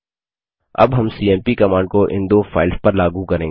अब हम CMP command को इन दो फाइल्स पर लागू करेंगे